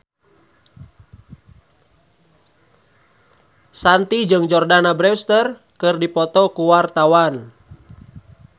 Shanti jeung Jordana Brewster keur dipoto ku wartawan